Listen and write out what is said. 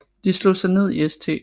De slog sig ned i St